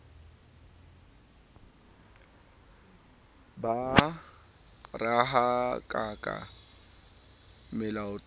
ba mo rahakaka molatoane o